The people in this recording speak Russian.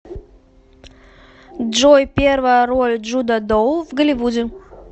джой первая роль джуда доу в голливуде